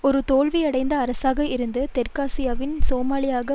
ஒரு தோல்வி அடைந்த அரசாக இருந்து தெற்காசியாவின் சோமாலியாவாக